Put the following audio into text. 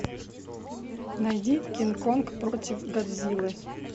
найди кинг конг против годзиллы